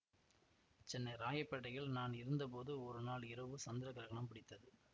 சென்னை ராயப்பேட்டையில் நான் இருந்த போது ஒருநாள் இரவு சந்திர கிரகணம் பிடித்தது